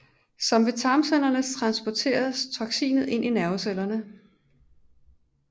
Som ved tarmcellerne transporteres toksinet ind i nervecellerne